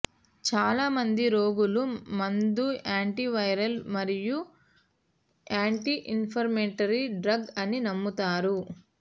చాలామంది రోగులు మందు యాంటివైరల్ మరియు యాంటీ ఇన్ఫ్లమేటరీ డ్రగ్ అని నమ్ముతారు